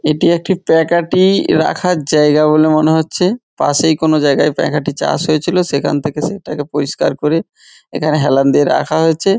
এটি একটি পাঁকাঠি-ই রাখার জায়গা বলে মনে হচ্ছে পাশেই কোনো জায়গায় পাঁকাঠি চাষ হয়েছিল সেখান থেকে সেটাকে পরিষ্কার করে এখানে হেলান দিয়ে রাখা হয়েছে।